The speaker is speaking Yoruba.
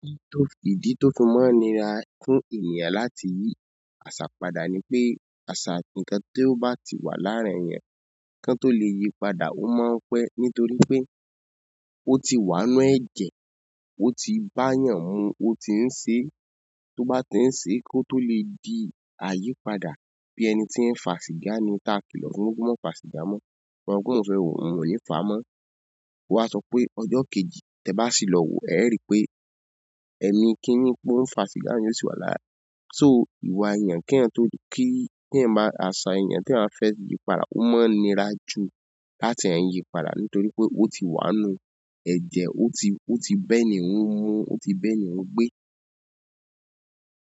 Idi to n fi máa nira fún ènìyàn láti yi àṣà padà ni pé àṣà, ǹnkan tí ó bá ti wà láàrin èèyàn kan tó lè yí padà ó máa n pẹ́ nítorí pé ó ti wà ínú ẹ̀jẹ́, ó ti bá èèyàn mu, ó ti ń ṣe tó bá ti ń ṣe kó tó lè di àyípadà bí ẹni tí ń fà sìgá ni táa kìlọ̀ fún ó mọ́ fà sìgá mọ́, òun pé mò ń sọ í òun ò níí fàá mọ́. Wá sọ pé ọjọ́ kejì tẹ bá sì lọ wòó ẹ̀ẹ́ ri pé èmi kiní mò ń fa sìgá yẹn ó sì wà lára. So, ìwà èèyàn kéyàn tó kí téyàn bá àṣà èèyàn téyàn bá fẹ́ yí padà ó mọ ń nira ju láti hàn hín yí padà nítorí pé ó ti wà nínú ẹ̀jẹ̀, ó ti ó bẹ́ ni hún mu, ó ti bẹ́ ni hún gbé.